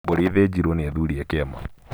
Mbũri ĩthĩnjirwo nĩ athuri a kĩama.